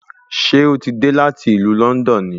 Ṣé ó ti dé láti ìlú Lọ́ndọ̀n ni